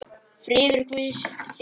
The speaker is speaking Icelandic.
Friður Guðs þig blessi.